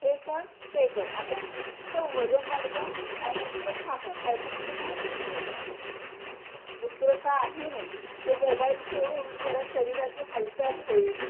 हे कर ते कर अशानं नुसतं वजन वाढतं आणि नुसतं खा खा आणि खायचं म्हणजे काय, पिझ्झा दुसरं काही नाही पण मोबाईल सोडून जरा शरीराची हालचाल होईल